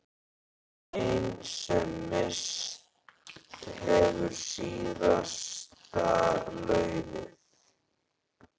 Grein sem misst hefur síðasta laufið.